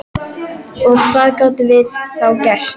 Og hvað gátum við þá gert?